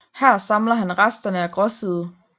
Her samler han resterne af Gråside